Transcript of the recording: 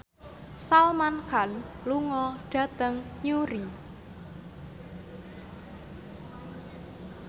Salman Khan lunga dhateng Newry